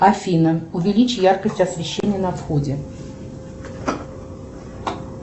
афина увеличь яркость освещения на входе